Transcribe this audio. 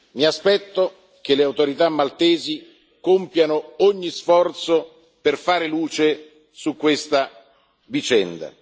Mi aspetto che le autorità maltesi compiano ogni sforzo per fare luce su questa vicenda.